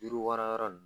Yiriwara yɔrɔ nunnu